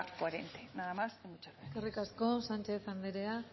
coherente nada más y muchas gracias eskerrik asko sánchez anderea